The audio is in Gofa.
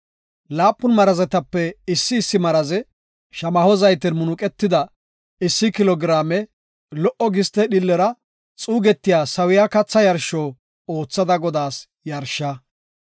Laapun marazetape issi issi maraze shamaho zayten munuqetida issi kilo giraame lo77o giste dhiillera xuugetiya sawiya katha yarsho oothada Godaas yarishsha.